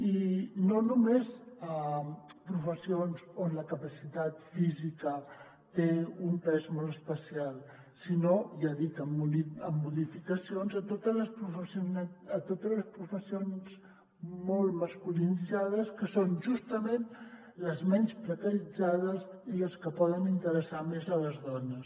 i no només a professions on la capacitat física té un pes molt especial sinó ja dic amb modificacions a totes les professions molt masculinitzades que són justament les menys precaritzades i les que poden interessar més a les dones